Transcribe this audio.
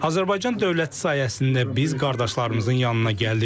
Azərbaycan dövləti sayəsində biz qardaşlarımızın yanına gəldik.